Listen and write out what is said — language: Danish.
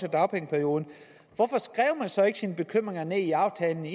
af dagpengeperioden hvorfor skrev man så ikke sine bekymringer ned i aftalen med